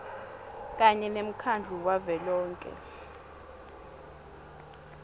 kanye nemkhandlu wavelonkhe